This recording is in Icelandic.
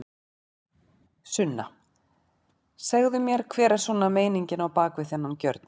Sunna: Segðu mér hver er svona meiningin á bak við þennan gjörning?